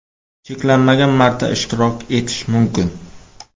Cheklanmagan marta ishtirok etish mumkin .